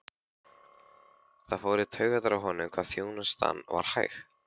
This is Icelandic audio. Það fór í taugarnar á honum hvað þjónustan var hæg.